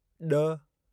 ॾ